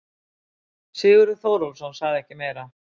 Sigurður Þórólfsson sagði ekki meira.